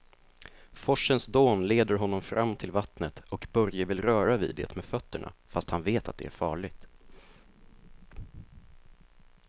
Forsens dån leder honom fram till vattnet och Börje vill röra vid det med fötterna, fast han vet att det är farligt.